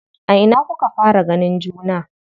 A ina kuka fara ganin juna?